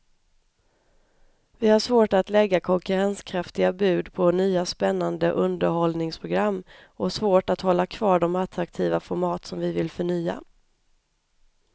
Vi har svårt att lägga konkurrenskraftiga bud på nya spännande underhållningsprogram och svårt att hålla kvar de attraktiva format som vi vill förnya.